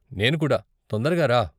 నేను కూడా, తొందరగా రా!